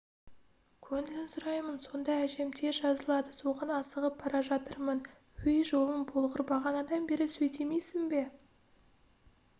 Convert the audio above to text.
көңілін сұраймын сонда әжем тез жазылады соған асығып бара жатырмын өй жолың болғыр бағанадан бері сөйдемейсің бе